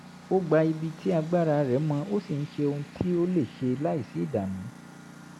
ó gba ibi tí agbára rẹ̀ mọ ó sì ń ṣe ohun tí ó lè ṣe láìsí ìdààmú